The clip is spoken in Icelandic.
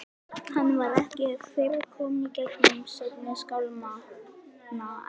Hann var ekki fyrr kominn í gegnum seinni skálmina en